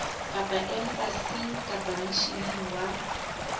kapa embasing kapa misheneng wa